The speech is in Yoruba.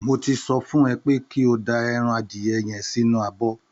Mo ti sọ fún ẹ pé kí o da ẹran adìyẹ yẹn sínú abọ́